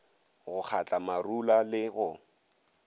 go kgatla marula le go